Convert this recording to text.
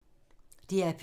DR P2